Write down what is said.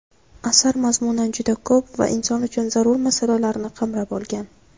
Asar mazmunan juda ko‘p va inson uchun zarur masalalarni qamrab olgan.